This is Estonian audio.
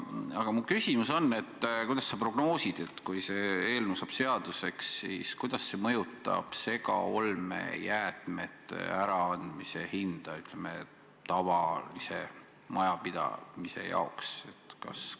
Aga mu küsimus on: mida sa prognoosid, kuidas see eelnõu, kui see seaduseks on saanud, mõjutab segaolmejäätmete äraandmise tasu tavalise majapidamise jaoks?